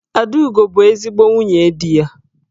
Adaugo bu ezigbo nwunye di ya.